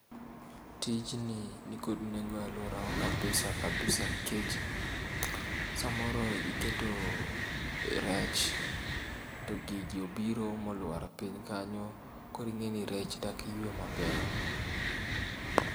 Tijni nikod nengo aluorawa kabisa kabisa nikech samoro iketoo rech to gigi obiro moluar piny kanyo koro ing'eni rech dak ywe maber.